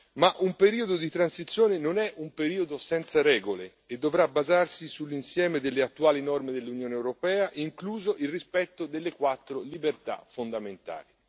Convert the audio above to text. Ma un periodo di transizione non è un periodo senza regole e dovrà basarsi sull'insieme delle attuali norme dell'Unione europea, incluso il rispetto delle quattro libertà fondamentali.